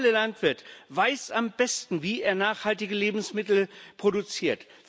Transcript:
Der lokale Landwirt weiß am besten, wie er nachhaltige Lebensmittel produziert.